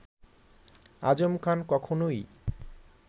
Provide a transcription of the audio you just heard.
আজম খান কখনওই